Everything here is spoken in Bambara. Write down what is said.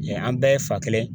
an bɛɛ ye fa kelen